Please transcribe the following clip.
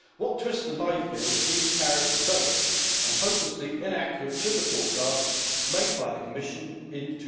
What twists the knife here is that these tariffs are based on hopelessly inaccurate sugar forecasts made by the Commission in